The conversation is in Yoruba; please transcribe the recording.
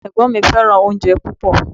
Ẹ̀gbọ́n mi Fẹ́ràn oúnjẹ púpọ̀